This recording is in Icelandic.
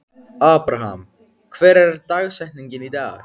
Abraham, hver er dagsetningin í dag?